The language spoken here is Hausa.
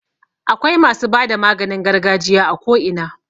Akwai masu bada maganin gargajiya a ko ina.